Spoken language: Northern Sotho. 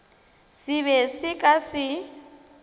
se be se ka se